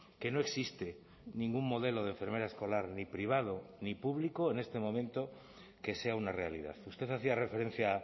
que no existe ningún modelo de enfermera escolar ni privado ni público en este momento que sea una realidad usted hacía referencia